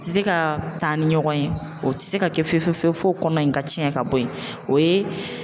Tɛ se ka taa ni ɲɔgɔn ye, o tɛ se ka kɛ fewu fewu fewu fewu f'o kɔnɔ in ka tiɛn ka bɔ yen.